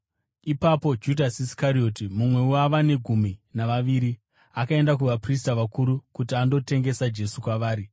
Ipapo Judhasi Iskarioti, mumwe wavane gumi navaviri, akaenda kuvaprista vakuru kuti andotengesa Jesu kwavari.